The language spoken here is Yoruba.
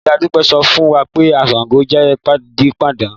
Ìyá Dúpẹ́ sọ fún wa pé Ṣàngó jẹ́ pidánpidán